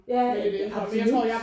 Ja absolut